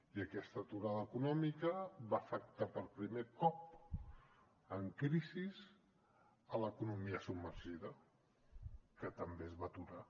i aquesta aturada econòmica va afectar per primer cop en crisi l’economia submergida que també es va aturar